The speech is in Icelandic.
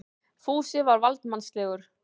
Fúsi var valdsmannslegur.